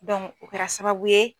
Dɔnku o kɛra sababu ye